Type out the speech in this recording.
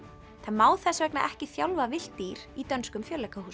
það má þess vegna ekki þjálfa villt dýr í dönskum